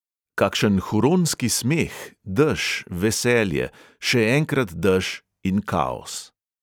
Kakšen huronski smeh, dež, veselje, še enkrat dež in kaos!